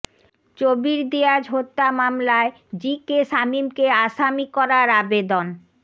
চবির দিয়াজ হত্যা মামলায় G K শামীমকে আসামি করার আবেদন